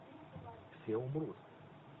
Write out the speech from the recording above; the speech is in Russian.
все умрут